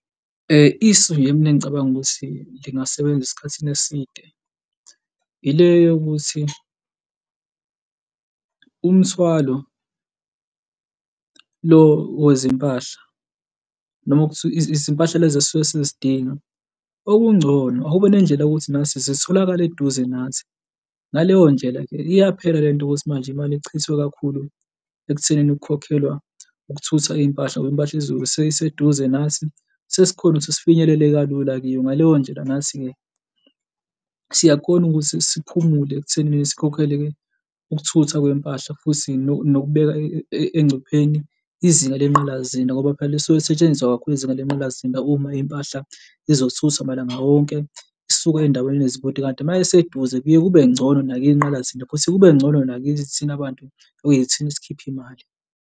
Isu nje mina engicabanga ukuthi lingasebenza esikhathini eside ile yokuthi umthwalo lo wezempahla noma ukuthi izimpahla lezi esisuke sizidinga, okungcono akube nendlela yokuthi nathi zitholakale eduze nathi. Ngaleyo ndlela-ke iyaphela lento ukuthi manje imali ichithwe kakhulu ekuthenini ukukhokhelwa ukuthutha impahla ngoba impahla seyiseduze nathi, sesikhona ukuthi sifinyelele kalula kiyo. Ngaleyo ndlela nathi-ke siyakhona ukuthi siphumule ekuthenini sikhokhele ukuthutha kwempahla futhi nokubeka engcupheni izinga lengqalasizinda ngoba phela isuke isetshenziswa kakhulu izinga lenqalasizinda uma impahla ezothutha malanga onke isuka ey'ndaweni ezikude, kanti uma iseduze kuye kube ngcono nakwinqalasizinda futhi kube ngcono nakithi thina bantu okuyithina, esikhipha imali.